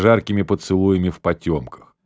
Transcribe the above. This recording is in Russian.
жаркими поцелуями в потёмках